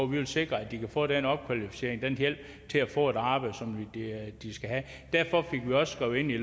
vi vil sikre at de kan få opkvalificering og hjælp til at få det arbejde som de skal have derfor fik vi også skrevet ind i